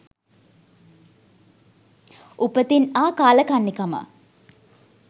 උපතින් ආ කාලකන්නි කම